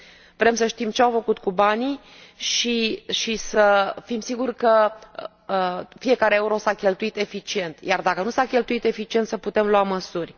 Vrem să știm ce au făcut cu banii și să fim siguri că fiecare euro s a cheltuit eficient iar, dacă nu s a cheltuit eficient, să putem lua măsuri.